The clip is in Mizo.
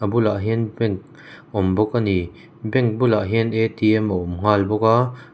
bulah hian pen awm bawk a ni bank bulah hian a awm nghal bawk a--